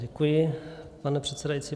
Děkuji, pane předsedající.